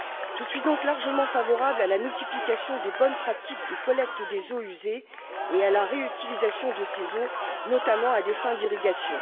Je suis donc largement favorable à la multiplication des bonnes pratiques de collecte des eaux usées et à la réutilisation de ces eaux, notamment à des fins d'irrigation.